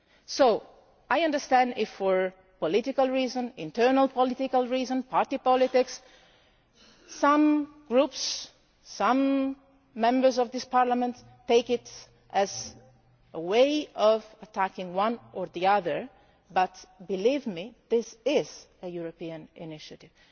So I understand if, for internal political reasons and party politics, some groups and some Members of this Parliament take it as a way of attacking one or the other, but, believe me, this is a European initiative.